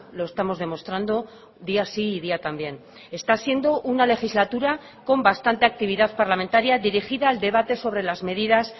lo estamos demostrando día sí y día también está siendo una legislatura con bastante actividad parlamentaria dirigida al debate sobre las medidas